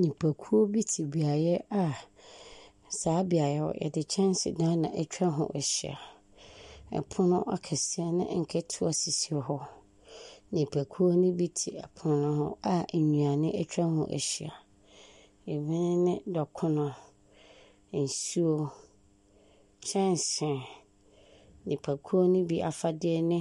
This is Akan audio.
Nyimpa kuo bi te neaeɛ a saa beaeɛ hɔ, wɔde kyɛnsedan na atwa ho ahyia. Pon akɛseɛ ne nketewa sisi hɔ. Nnipakuo no bi te pono no ho a nnuane atwa ho ahyia. Ebi ne dɔkono, nsuo, kyɛnse. Nnipakuo no bi afadeɛ ne